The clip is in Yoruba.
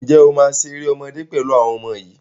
Ǹjẹ́ o máa ṣe eré ọmọdé pẹ̀lú àwọn ọmọ yìí